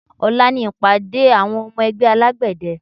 Ọ̀la ni ìpàdé àwọn ọmọ ẹgbẹ́ alágbẹ̀dẹ